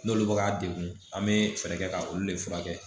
N'olu bɛ k'a degun an bɛ fɛɛrɛ kɛ ka olu de furakɛ